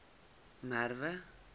merwe